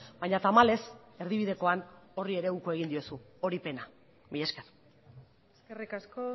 baina tamalez erdibidekoan horri ere uko egin diozu hori pena mila esker eskerrik asko